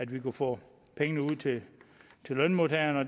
vi kunne få pengene ud til lønmodtagerne og